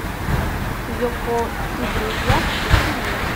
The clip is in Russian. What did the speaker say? йоко и друзья включи мне